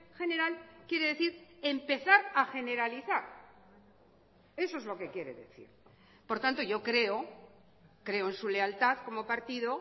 general quiere decir empezar a generalizar eso es lo que quiere decir por tanto yo creo creo en su lealtad como partido